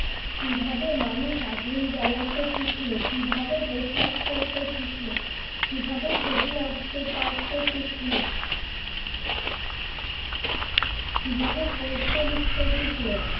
কিভাবে মানুষ আগুন জ্বালাতে শিখল, কিভাবে পোষাক পড়তে শিখল, কিভাবে ছবি আঁকতে পারতে শিখল কিভাবে পড়তে লেখতে শিখল